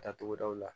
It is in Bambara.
Datugudaw la